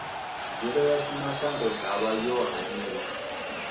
mbilo yashu mashangoḓavha yo haniwa